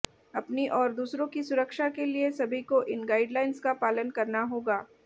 अपनी और दूसरों की सुरक्षा के लिए सभी को इन गाइडलाइन्स का पालन करना होगा